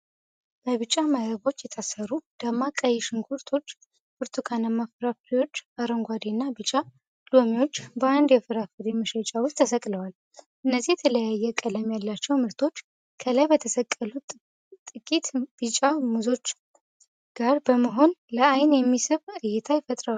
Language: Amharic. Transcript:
በቢጫ መረቦች የታሰሩ ደማቅ ቀይ ሽንኩርቶች፣ ብርቱካናማ ፍራፍሬዎች፣ አረንጓዴ እና ቢጫ ሎሚዎች በአንድ የፍራፍሬ መሸጫ ውስጥ ተሰቅለዋል። እነዚህ የተለያየ ቀለም ያላቸው ምርቶች ከላይ በተሰቀሉ ጥቂት ቢጫ ሙዞች ጋር በመሆን ለዓይን የሚስብ እይታ ፈጥረዋል።